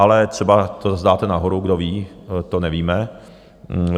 Ale třeba to dáte nahoru, kdo ví, to nevíme.